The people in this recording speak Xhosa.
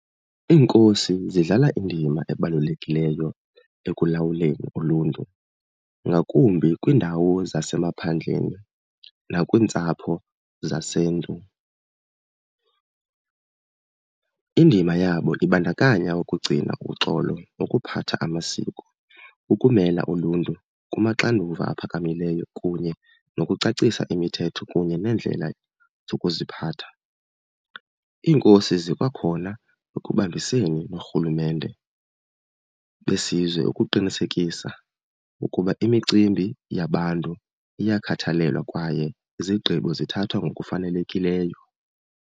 Iinkosi zidlala indima ebalulekileyo ekulawuleni uluntu, ngakumbi kwiindawo zasemaphandleni nakwiintsapho zaseNtu. Indima yabo ibandakanya ukugcina uxolo nokuphatha amasiko, ukumela uluntu kumaxanduva aphakamileyo kunye nokucacisa imithetho kunye neendlela zokuziphatha. Iinkosi zikwakhona ekubambiseni noorhulumente besizwe ukuqinisekisa ukuba imicimbi yabantu iyakhathalelwa kwaye izigqibo zithathwa ngokufanelekileyo.